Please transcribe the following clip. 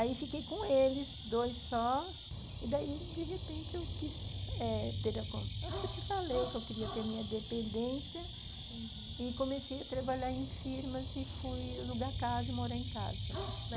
Aí fiquei com eles, dois só, e daí de repente eu quis ter eh... acho que eu te falei que eu queria ter a minha dependência e comecei a trabalhar em firmas e fui alugar casa e morar em casa.